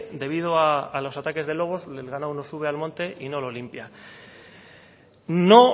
debido a los ataque de lobos el ganado no sube al monte y no lo limpia no